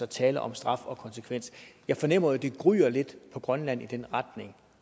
tale om straf og konsekvens jeg fornemmer jo at det gryer lidt på grønland i den retning